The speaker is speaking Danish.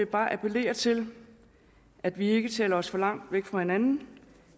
bare appellere til at vi ikke taler os for langt væk fra hinanden